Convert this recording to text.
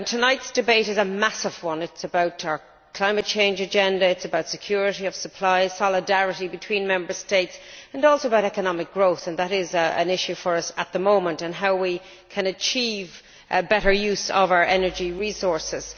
Tonight's debate is a massive one it is about our climate change agenda, security of supply, solidarity between Member States and also economic growth and that is an issue for us at the moment and how we can achieve a better use of our energy resources.